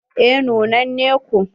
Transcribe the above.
Eh nunnane ko.